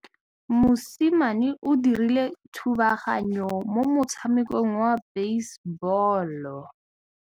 Mosimane o dirile thubaganyô mo motshamekong wa basebôlô.